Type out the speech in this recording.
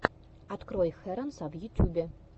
открой хэронса в ютьюбе